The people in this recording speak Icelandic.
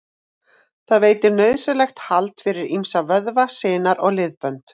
Það veitir nauðsynlegt hald fyrir ýmsa vöðva, sinar og liðbönd.